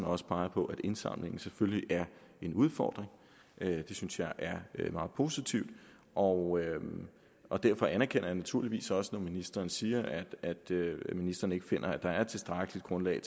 også peger på at indsamlingen selvfølgelig er en udfordring det synes jeg er meget positivt og og derfor anerkender jeg det naturligvis også når ministeren siger at ministeren ikke finder at der er et tilstrækkeligt grundlag